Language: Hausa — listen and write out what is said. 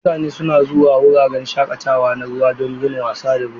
Mutane suna zuwa wuraren shakatawa na ruwa don yin wasa da ruwa.